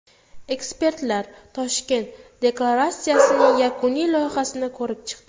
Ekspertlar Toshkent deklaratsiyasining yakuniy loyihasini ko‘rib chiqdi.